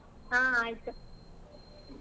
ಹ್ಮ್ ಆಯ್ತ್.